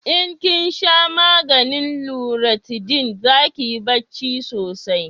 in kin sha maganin luratidin za kiyi barci sosai